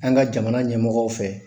An ka jamana ɲɛmɔgɔw fɛ